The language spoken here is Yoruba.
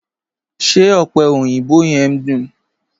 Ṣé ọ̀pẹ̀ oyinbò yẹ̀m duń?